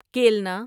کیلنا